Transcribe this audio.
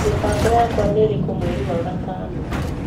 mĩbango yakwa nĩ ĩrĩkũ mweri wa gatano